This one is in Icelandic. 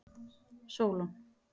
Sólon